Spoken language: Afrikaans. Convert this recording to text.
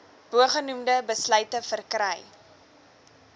bogenoemde besluite verkry